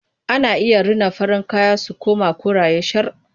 Ana iya rina farin kaya su koma koraye shar.